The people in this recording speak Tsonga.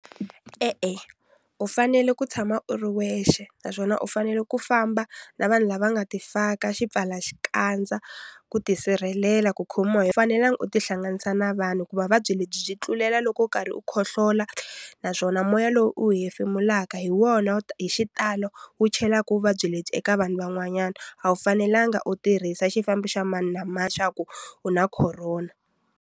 E-e u fanele ku tshama u ri wexe naswona u fanele ku famba na vanhu lava nga ti faka xipfala xikandza ku ti sirhelela ku khomiwa hi fanelanga u tihlanganisa na vanhu hikuva vuvabyi lebyi byi tlulelaka loko u karhi u khohlola naswona moya lowu u wu hefemulaka hi wona hi xitalo wu chelaka vuvabyi lebyi eka vanhu van'wanyana a wu fanelanga u tirhisa xifambo xa mani na mani xa ku u na khorona.